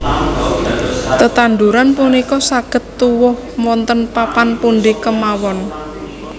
Tetanduran punika saged tuwuh wonten papan pundi kemawon